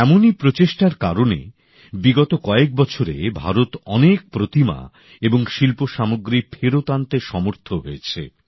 এমনই প্রচেষ্টার কারণে বিগত কয়েক বছরে ভারত অনেক প্রতিমা এবং শিল্পসামগ্রী ফেরত আনতে সমর্থ হয়েছে